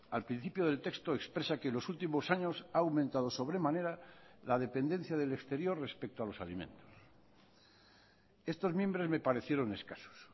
al principio del texto expresa que en los últimos años ha aumentado sobremanera la dependencia del exterior respecto a los alimentos estos mimbres me parecieron escasos